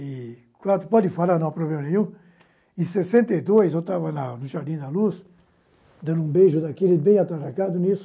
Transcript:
e quatro, pode falar não, problema nenhum, em sessenta e dois, eu estava lá no Jardim da Luz, dando um beijo daquele bem atracado nisso,